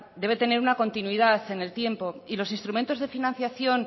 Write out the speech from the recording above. debe tener una continuidad en el tiempo y los instrumentos de financiación